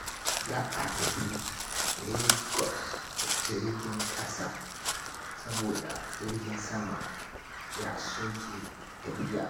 Za a tafi Lagos da jirgin ƙasa saboda jirgin sama ya soke tafiya.